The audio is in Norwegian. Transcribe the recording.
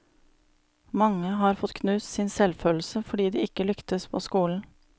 Mange har fått knust sin selvfølelse fordi de ikke lyktes på skolen.